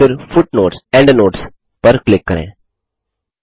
और फिर footnotesएंडनोट्स पर क्लिक करें